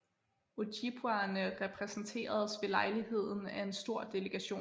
Ojibwaerne repræsenteredes ved lejligheden af en stor delegation